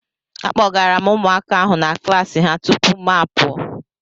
Akpọgara m ụmụaka ahụ na klassi ha tupu mụ apụọ.